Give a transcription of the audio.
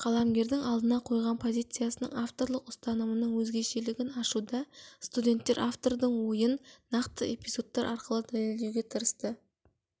қаламгердің алдына қойған позициясының авторлық ұстанымының өзгешелігін ашуда студенттер автордың ойын нақты эпизодтар арқылы дәлелдеуге тырысты